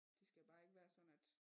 Det skal jo bare ikke være sådan at